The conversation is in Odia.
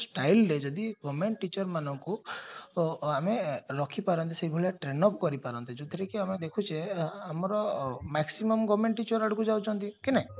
styleରେ ଯଦି government teacher ମାନଙ୍କୁ ଆମେ ରଖିପାରନ୍ତେ ସେଭଳିଆ train up କରିପାରନ୍ତେ ଯାଉଥିରେ କି ଆମେ ଦେଖୁଚେ ଆମର maximum government teacher ଆଡକୁ ଯାଉଛନ୍ତି କି ନାଇଁ